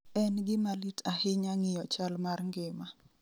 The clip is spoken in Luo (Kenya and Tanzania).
En gima lit ahinya ng'iyo chal mar ngima